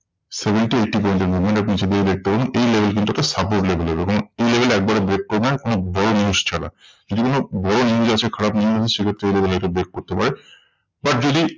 Seventy eighty point এর movement আপনি নিচের দিকে দেখতে পারেন। এই level কিন্তু একটা support level এর এই level একেবারে break করবে না কোনো বড় news ছাড়া। যদি কোন বড় news আসে খারাপ news সেই ক্ষেত্রে এই level কে break করতে পারে। but যদি